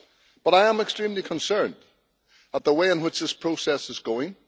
But I am extremely concerned at the way in which this process is going.